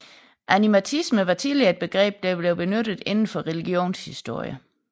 Animatisme var tidligere et begreb der blev benyttet inden for religionshistorie